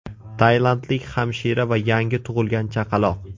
Tailandlik hamshira va yangi tug‘ilgan chaqaloq.